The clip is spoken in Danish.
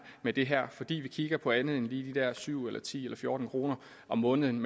med det her fordi vi kigger på andet end lige de der syv ti eller fjorten kroner om måneden